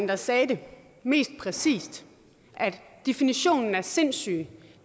der sagde det mest præcist definitionen på sindssyge